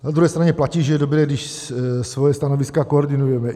Na druhé straně platí, že je dobré, když svoje stanoviska koordinujeme.